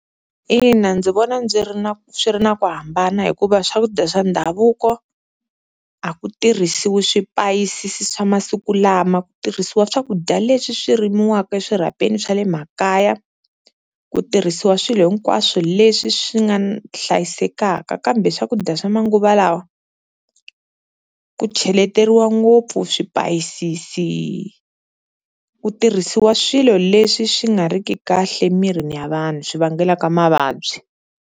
Ina ndzi vona ndzi ri na swi ri na ku hambana hikuva swakudya swa ndhavuko a ku tirhisiwi swipayisisi swa masiku lama, ku tirhisiwa swakudya leswi swi rimiwaka eswirhapeni swa le makaya, ku tirhisiwa swilo hinkwaswo leswi swi nga hlayisekaka kambe swakudya swa manguva lawa, ku cheleteriwa ngopfu swipayisisi ku tirhisiwa swilo leswi swi nga ri ki kahle emirini ya vanhu swi vangelaka mavabyi.